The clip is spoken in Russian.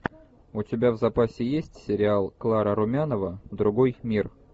у тебя в запасе есть сериал клара румянова другой мир